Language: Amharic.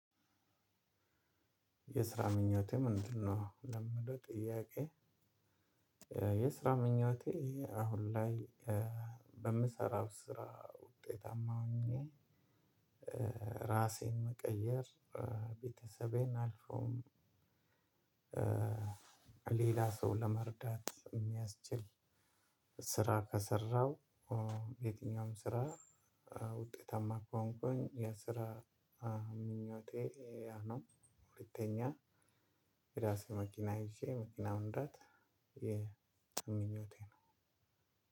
የስራ ምኞቴ ምንድነው ለሚለው ጥያቄ? የስራ ምኞቴ አሁን ላይ በምሰራው ስራ ውጤታማ ሆኜ። ራሴን መቀየር ቤተሰቤን አልፎም ሌላ ሰው ለመርዳት የሚያስችል ስራ ከሰራው። የትኛውም ስራ ውጤታማ ከሆንኩኝ የስራ ምኞቴ ያ ነው። ሁለተኛ የራሴ መኪና ይዤ መኪናውን መንዳት የምኞቴ ነው።